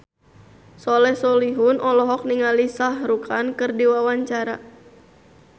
Soleh Solihun olohok ningali Shah Rukh Khan keur diwawancara